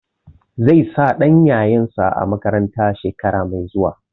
Zai sa ɗan yayansa a makaranta shekara mai zuwa.